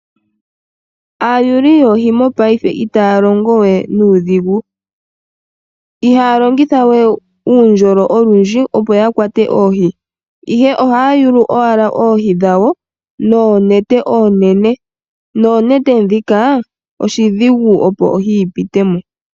Aayuli yoohi mopayife itaya longo we nuudhigu . Ihaya longitha we uundjolo olundji opo yakwate oohi ihe ohaya yulu owala oohi dhawo noonete oonene ,Noonete ndhika oshidhigu opo ohi yi pitemo.